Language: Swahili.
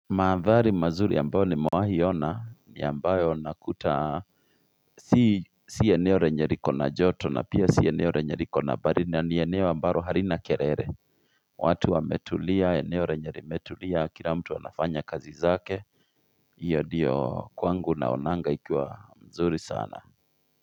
Mahandhari mazuri ambayo nimewahi ona ni ambayo nakuta si eneo lenye liko na joto na pia si eneo lenye liko na baridi na ni eneo ambalo halina kelele watu wametulia eneo lenye limetulia kila mtu anafanya kazi zake hiyo ndiyo kwangu naonanga ikiwa mzuri sana.